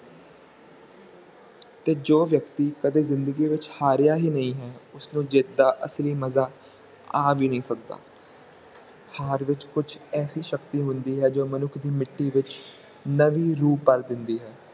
ਤੇ ਜੋ ਵਿਅਕਤੀ ਕਦੇ ਜਿੰਦਗੀ ਵਿਚ ਹਾਰਿਆ ਹੀ ਨਹੀਂ ਹੈ ਉਸ ਨੂੰ ਜਿੱਤ ਦਾ ਅਸਲੀ ਮਜ਼ਾ ਆ ਵੀ ਨਹੀਂ ਸਕਦਾ ਹਾਰ ਵਿਚ ਕੁਛ ਐਸੀ ਸ਼ਕਤੀ ਹੁੰਦੀ ਹੈ ਜੋ ਮਨੁੱਖ ਦੀ ਮਿੱਟੀ ਵਿਚ ਨਵੀ ਰੂਹ ਭਰ ਦਿੰਦੀ ਹੈ